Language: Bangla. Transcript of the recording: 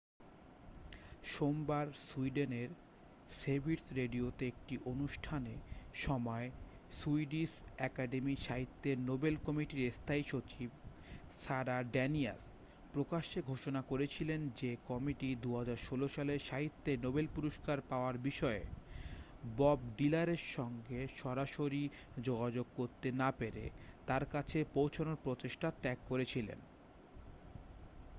সোমবার সুইডেনের সেভিরস রেডিওতে একটি অনুষ্ঠানের সময় সুইডিশ অ্যাকাডেমিতে সাহিত্যের নোবেল কমিটির স্থায়ী সচিব সারা ডানিয়াস প্রকাশ্যে ঘোষণা করেছিলেন যে কমিটি 2016 সালে সাহিত্যে নোবেল পুরস্কার পাওয়ার বিষয়ে বব ডিলানের সঙ্গে সরাসরি যোগাযোগ করতে না পেরে তাঁর কাছে পৌঁছানোর প্রচেষ্টা ত্যাগ করেছিল